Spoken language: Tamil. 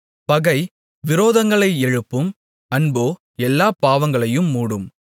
பகை விரோதங்களை எழுப்பும் அன்போ எல்லாப் பாவங்களையும் மூடும்